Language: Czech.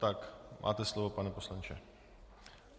Tak máte slovo, pane poslanče.